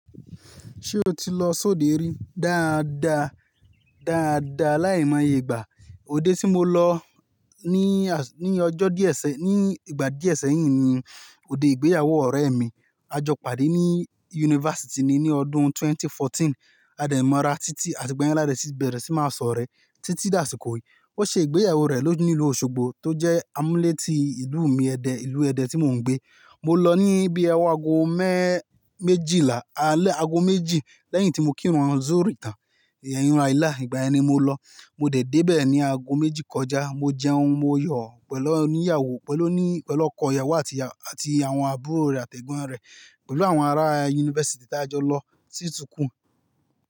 Ṣé o ti lọ sóde rí? Dáadáa, dáadáa. Láì mọ iyègbà. Ode tí mo lọ ní, ní ọjọ́ díẹ̀ sẹ́, ní ìgbà díẹ̀ sẹ́yìn ni òde ìgbéyàwó ọ̀rẹ́ mi. A jọ pàdé ní yunifásítì ni, ní ọdún 2014. A dẹ̀ mọ́ra títí àti igba yẹn la dẹ síbẹ̀ rẹ tí máa sọ̀rẹ́ títí dàsìkò yìí. Ó ṣe ìgbéyàwó rẹ̀ lóju ni ìlú Osogbo tó jẹ́ amúlétí ìlú mi ẹdẹ, ìlú ẹdẹ tí mò ń gbé. Mo lọ ní bíi ọwọ aago mẹ́ méjìlá, alẹ́ aago méjì lẹ́yìn tí mo kírun zuri tàn, ìrun aláìlá. Ìgbà ẹni mo lọ. Mo dẹ̀ dé bè ní aago méjì kọjá. Mo jẹun, mo yọ̀ pẹ̀lú oníyàwó, pẹ̀lú oní, pẹ̀lú ọkọ ìyàwó àti, àti àwọn àbúrò rẹ̀ àti ẹ̀gbọ́n rẹ̀ pẹ̀lú àwọn ará yunifásítì tí a jọ lọ sí sukul.